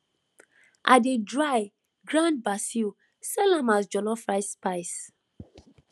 i dey dry grind basil sell am as jollof rice spice